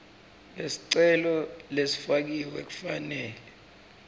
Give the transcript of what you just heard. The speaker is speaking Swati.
lesicelo lesifakiwe kufanele